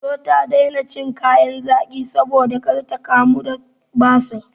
Indo ta daina cin kayan zaƙi saboda kar ta kamu da basir.